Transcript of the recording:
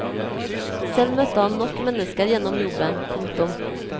Selv møtte han nok mennesker gjennom jobben. punktum